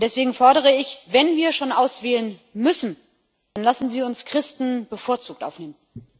Und deswegen fordere ich Wenn wir schon auswählen müssen, dann lassen Sie uns Christen bevorzugt aufnehmen!